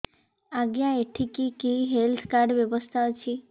ଆଜ୍ଞା ଏଠି କି କି ହେଲ୍ଥ କାର୍ଡ ବ୍ୟବସ୍ଥା ଅଛି